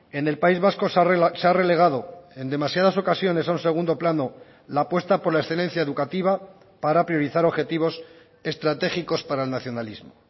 en el país vasco se ha relegado en demasiadas ocasiones a un segundo plano la apuesta por la excelencia educativa para priorizar objetivos estratégicos para el nacionalismo